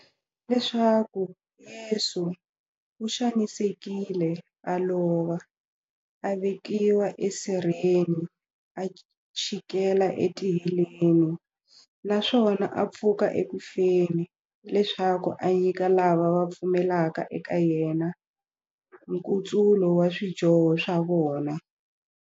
Leswaku Yesu u xanisekile, a lova, a vekiwa e sirheni, a chikela e tiheleni, naswona a pfuka eku feni, leswaku a nyika lava va pfumelaka eka yena, nkutsulo wa swidyoho swa vona.